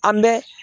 An bɛ